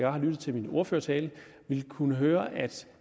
har lyttet til min ordførertale have kunnet høre at